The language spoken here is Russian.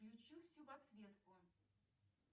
включи всю подсветку